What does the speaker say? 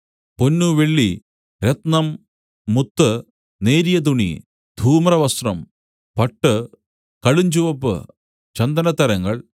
പൊന്നു വെള്ളി രത്നം മുത്ത് നേരിയ തുണി ധൂമ്രവസ്ത്രം പട്ട് കടുഞ്ചുവപ്പ് ചന്ദനത്തരങ്ങൾ